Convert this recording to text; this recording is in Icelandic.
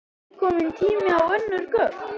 Heimir: Er þá ekki kominn tími á önnur gögn?